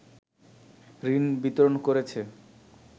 ঋণ বিতরণ করেছে